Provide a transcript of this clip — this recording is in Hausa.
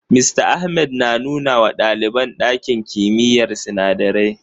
Mista Ahmad na nuna wa ɗaliban ɗakin kimiyyar sinadarai.